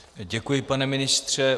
Děkuji, pane ministře.